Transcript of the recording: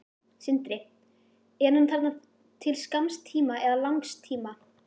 Sindri: Er hann þarna til skamms tíma eða langs tíma?